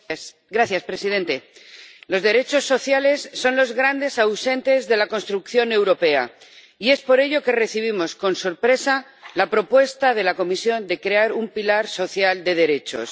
Señor presidente, los derechos sociales son los grandes ausentes de la construcción europea y por ello recibimos con sorpresa la propuesta de la Comisión de crear un pilar social de derechos.